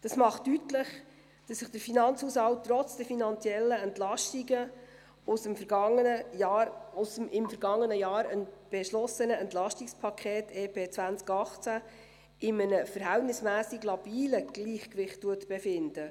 Dies macht deutlich, dass sich der Finanzhaushalt trotz der finanziellen Entlastungen aus dem, im vergangenen Jahr beschlossenen, EP 2018 in einem verhältnismässig labilen Gleichgewicht befindet.